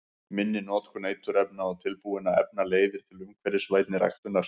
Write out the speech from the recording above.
Minni notkun eiturefna og tilbúinna efna leiðir til umhverfisvænni ræktunar.